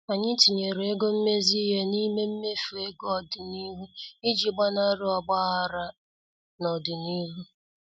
Anyị tinyere ego mmezi ihe n' ime mmefu ego ọdịnihu iji gbanari ogbaghara n' ọdịnihu.